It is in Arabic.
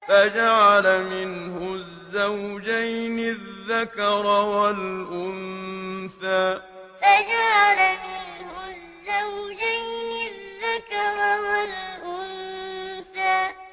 فَجَعَلَ مِنْهُ الزَّوْجَيْنِ الذَّكَرَ وَالْأُنثَىٰ فَجَعَلَ مِنْهُ الزَّوْجَيْنِ الذَّكَرَ وَالْأُنثَىٰ